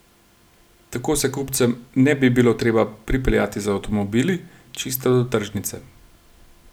Tako se kupcem ne bi bilo treba pripeljati z avtomobili čisto do tržnice.